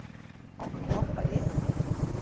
Á hann að hoppa yfir hann?